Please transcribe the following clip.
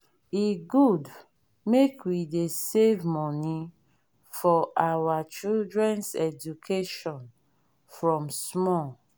e good make we dey save money for our children’s education from small.